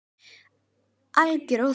Alger óþarfi.